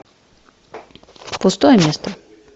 пустое место